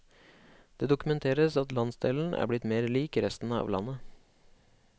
Det dokumenteres at landsdelen er blitt mer lik resten av landet.